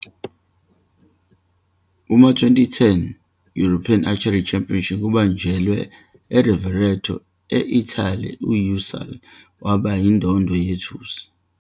Kuma-2010 European Archery Championship abanjelwe eRovereto, e-Italy, u-Ünsal waba yindondo yethusi.